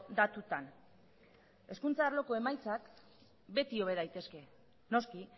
datutan hezkuntza arloko emaitzak beti hobe daitezke noski